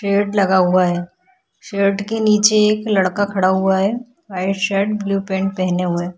Shade लगा हुआ है शेड के निचे एक लड़का खड़ा हुआ है वाइट शर्ट ब्लू पैंट पहने हुए है।